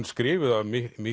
skrifuð af